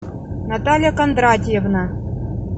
наталья кондратьевна